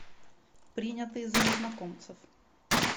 принятые за незнакомцев